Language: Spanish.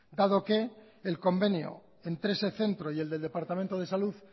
dado que el convenio entre ese centro y el de departamento de salud